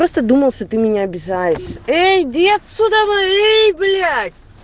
просто думал что ты меня обижаешь ээй иди отсюда ээй блять